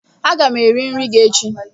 Aga m eri nri gi echi